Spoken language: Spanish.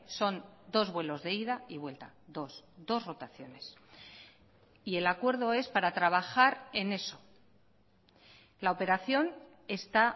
son dos vuelos de ida y vuelta dos dos rotaciones y el acuerdo es para trabajar en eso la operación está